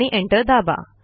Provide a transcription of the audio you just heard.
आणि एंटर दाबा